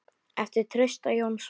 eftir Trausta Jónsson